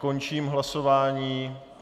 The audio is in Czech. Končím hlasování.